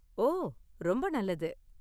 ஓ, ரொம்ப நல்லது.